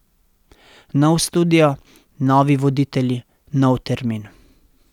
Nov studio, novi voditelji, nov termin.